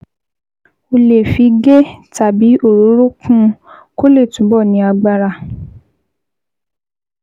O lè fi ghee tàbí òróró kún un kó lè túbọ̀ ní agbára